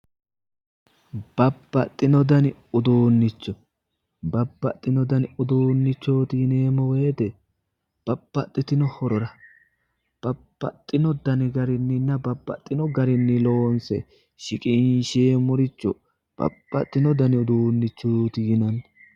babbaxino dani uduunnicho babbaxino dani uduunnichooti yineemmo woyite babbaxitino dani horora babbaxitino dani garinninna babbaxino garinni loonse shiqinsheemmoricho babbaxino dani uduunnichooti yinanni.